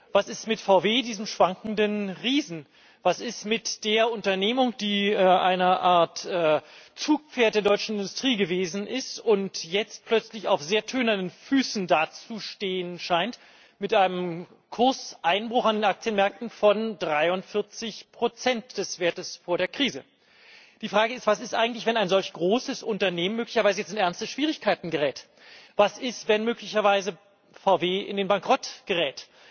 Was ist mit VW, diesem schwankenden Riesen? Was ist mit der Unternehmung, die eine Art Zugpferd der deutschen Industrie gewesen ist und jetzt plötzlich auf sehr tönernen Füßen dazustehen scheint, mit einem Kurseinbruch an den Aktienmärkten von 43 des Wertes vor der Krise? Die Frage ist, was ist eigentlich, wenn ein solch großes Unternehmen jetzt möglicherweise in ernste Schwierigkeiten gerät? Was ist, wenn VW möglicherweise in den Bankrott gerät,